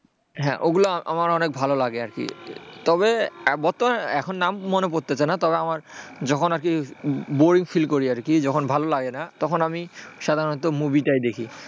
হ্যাঁওগুলো আমার অনেক ভালো লাগে আরকি তবে বর্তমানে এখন নাম মনে পড়ছে না তবে আমার যখন আর কি boring feel করি তখন আমি সাধারণত movie দেখি,